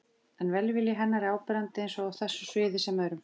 En velvilji hennar er áberandi, eins á þessu sviði sem öðrum.